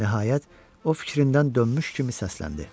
Nəhayət, o fikrindən dönmüş kimi səsləndi.